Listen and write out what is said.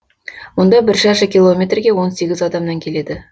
мұнда бір шаршы километрге он сегіз адамнан келеді